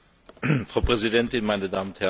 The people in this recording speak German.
Frau Präsidentin, meine Damen und Herren!